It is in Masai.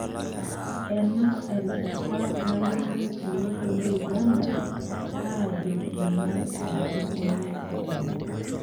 Ena erishata nalimu olosho le Uganda ajo ng'ae olarikoni lenye.